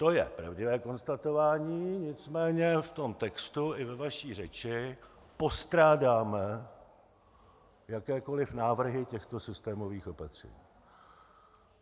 To je pravdivé konstatování, nicméně v tom textu i ve vaší řeči postrádáme jakékoliv návrhy těchto systémových opatření.